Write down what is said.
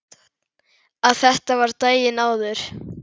Að þetta var daginn áður.